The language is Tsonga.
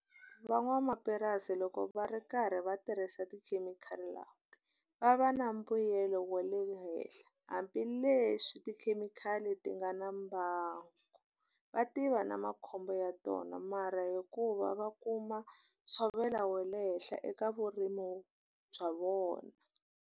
Van'wamapurasi loko va ri karhi va tirhisa tikhemikhali va va na mbuyelo wa le henhla. Hambileswi tikhemikhali ti nga na na mbangu, va tiva na makhombo ya tona mara hikuva va kuma ntshovelo wa le henhla eka vurimi bya vona.